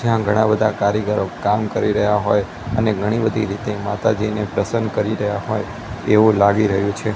જ્યાં ઘણા બધા કારીગરો કામ કરી રહ્યા હોઈ અને ઘણી બધી રીતે માતાજીને પ્રસન્ન કરી રહ્યા હોઈ એવુ લાગી રહ્યુ છે.